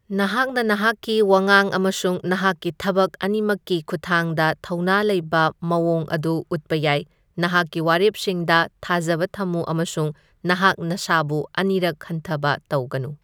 ꯅꯍꯥꯛꯅ ꯅꯍꯥꯛꯀꯤ ꯋꯥꯉꯥꯡ ꯑꯃꯁꯨꯡ ꯅꯍꯥꯛꯀꯤ ꯊꯕꯛ ꯑꯅꯤꯃꯛꯀꯤ ꯈꯨꯠꯊꯥꯡꯗ ꯊꯧꯅꯥ ꯂꯩꯕ ꯃꯥꯑꯣꯡ ꯑꯗꯨ ꯎꯠꯄ ꯌꯥꯏ ꯅꯍꯥꯛꯀꯤ ꯋꯥꯔꯦꯞꯁꯤꯡꯗ ꯊꯥꯖꯕ ꯊꯝꯃꯨ ꯑꯃꯁꯨꯡ ꯅꯍꯥꯛ ꯅꯁꯥꯕꯨ ꯑꯅꯤꯔꯛ ꯈꯟꯊꯕ ꯇꯧꯒꯅꯨ꯫